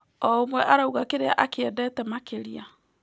O ũmwe arauga kĩrĩa akĩendete makĩria.